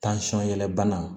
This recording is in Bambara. yɛlɛbana